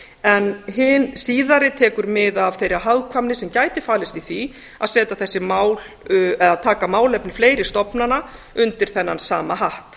en hin síðari tekur mið af þeirri hagkvæmni sem gæti falist í því að setja þessi mál eða taka málefni fleiri stofnana undir þennan sama hatt